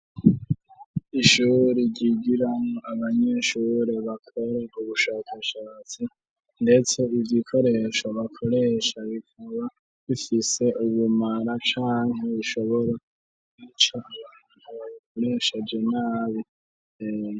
Ishuri ryigiramo abanyenshure bakora ubushakashatsi, ndetse ivyo ikoresho bakoresha bikaba bifise ubumara canke bishobora icaa ntabkoreshaje nabitea.